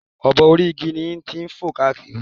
obo orí igi yẹn ń fò káàkiri